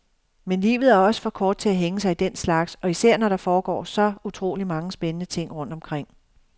Men livet er også for kort til at hænge sig i den slags, og især når der foregår så utroligt mange spændende ting rundt omkring.